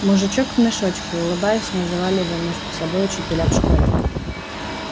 мужичок в мешочке улыбаясь называли его между собой учителя в школе